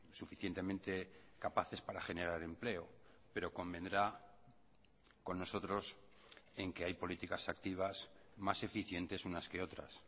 suficientemente capaces para generar empleo pero convendrá con nosotros en que hay políticas activas más eficientes unas que otras